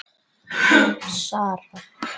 Þín, Sara.